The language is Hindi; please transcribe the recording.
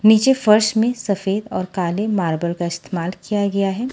नीचे फर्श में सफेद और काले मार्बल का इस्तेमाल किया गया है।